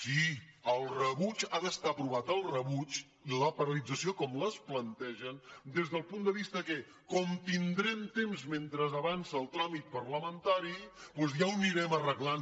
sí el rebuig ha d’estar aprovat el rebuig i la paralització com la plantegen des del punt de vista que com que tindrem temps mentre avança el tràmit parlamentari ja ho anirem arreglant